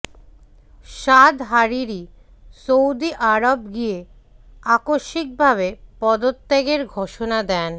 সাদ Hariri Saudi আরব গিয়ে আকস্মিকভাবে পদত্যাগের ঘোষণা দেন